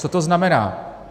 Co to znamená?